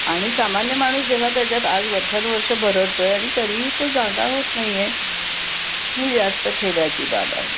आणि सामान्य माणूस जेव्हा त्याच्यात आज वर्षानुवर्ष बरडतोय आणि तरीही तो जागा होत नाही ही जास्त खेदाची बाब आहे